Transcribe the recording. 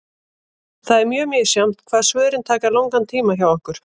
Það er mjög misjafnt hvað svörin taka langan tíma hjá okkur.